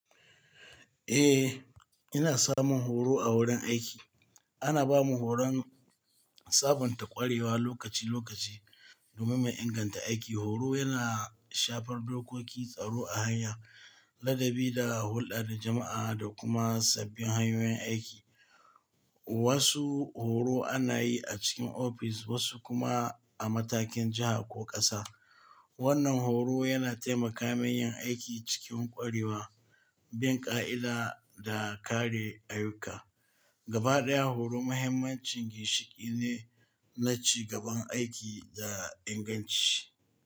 Eh, ina samun horo a wurin aiki. Ana ba mu horon sabunta ƙwarewa lokaci-lokaci domin mu inganta aiki. Horo yana shafar dokoki, tsaro a hanya, ladabi da hulɗar jama'a da kuma sabbin hanyoyin aiki. Wasu horo ana yi a cikin ofis wasu kuma a matakin jiha ko ƙasa. Wannan horo yana taimaka mun yin aiki cikin ƙwarewa, bin ƙa'ida da kare ayuka. Gabaɗaya horo muhimminci ginshiƙi ne na ci gaban aiki da inganci.